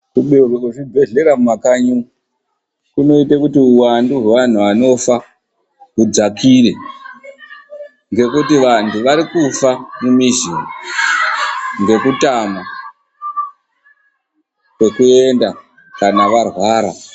Kubeurwe kwezvibhehlera mumakanyi umwu kunoite kuti huwandu hwevantu vanofa hudzakire, ngekuti, vantu varikufa mumizi umwu ngekutama kwekuenda kana varwara.